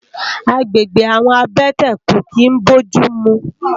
Àgbégbé àwòn àbètè kó kin bójùmú